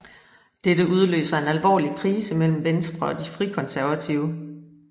Dette udløser en alvorlig krise mellem Venstre og De Frikonservative